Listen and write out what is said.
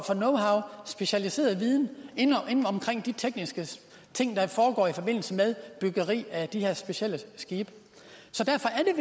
specialiseret viden om de tekniske ting der foregår i forbindelse med byggeri af de her specielle skibe derfor er